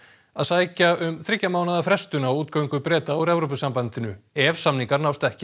að sækja um þriggja mánaða frestun á útgöngu Breta úr Evrópusambandinu ef samningar nást ekki